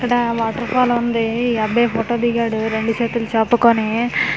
ఇక్కడా waterfall ఉంది ఈ అబ్బాయి ఫోటో దిగాడు రెండు చేతులు చాపూ కోని.